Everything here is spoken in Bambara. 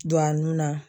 Don a nun na